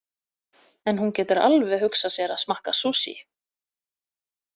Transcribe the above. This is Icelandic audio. En hún getur alveg hugsað sér að smakka sushi.